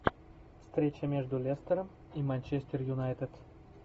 встреча между лестером и манчестер юнайтед